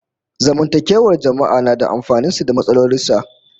Zamantakewar jama'a na da amfanin sa da matsalolin sa